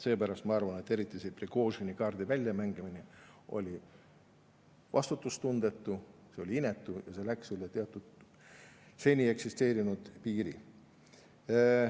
Seepärast ma arvan, et eriti see Prigožini-kaardi väljamängimine oli vastutustundetu, see oli inetu ja see läks üle teatud seni eksisteerinud piiri.